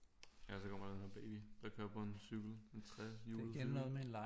Ellers så kommer der sådan baby der kører på en cykel en trehjulet cykel